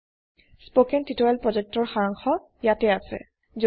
httpspoken tutorialorgWhat is a Spoken tutorial spoken tutorial প্ৰকল্পৰ সাৰাংশ ইয়াতে আছে